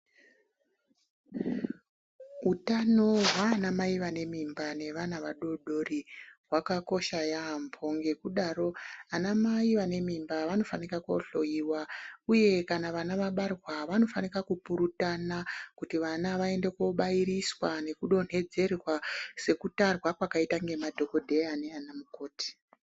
Utano hwanamai vane mimba nevana vadoodori hwakakosha yampho ngekudaro anamai vane mimba vanofanika kohloyiwa uye kana vana vabarwa vanofanika kupurutana kuti vana vaende kobairiswa nekudonthedzerwa sekutarwa kwakaitwa ngemadhokodheya neanamukoti.